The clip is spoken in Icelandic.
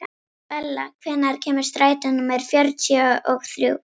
Bella, hvenær kemur strætó númer fjörutíu og þrjú?